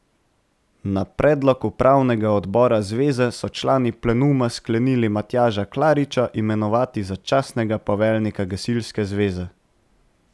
Na predlog upravnega odbora zveze so člani plenuma sklenili Matjaža Klariča imenovati za častnega poveljnika gasilske zveze.